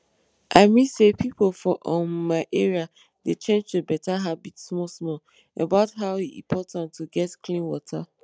i mean say pipo for um my area dey change to better habit small small about how e important to get clean water